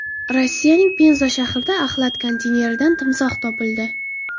Rossiyaning Penza shahrida axlat konteyneridan timsoh topildi.